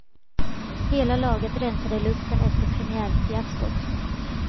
Hela laget rensade luften efter premiärfiaskot.